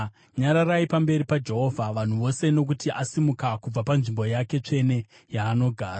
Nyararai pamberi paJehovha, vanhu vose, nokuti asimuka kubva panzvimbo yake tsvene yaanogara.”